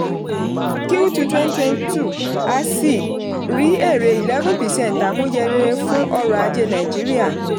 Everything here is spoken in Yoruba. q two twenty twenty two asi rí èrè eleven percent àmúyẹ rere fún ọrọ̀ ajé nàìjíríà.